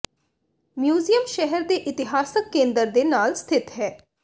museum ਸ਼ਹਿਰ ਦੇ ਇਤਿਹਾਸਕ ਕੇਂਦਰ ਦੇ ਨਾਲ ਸਥਿਤ ਹੈ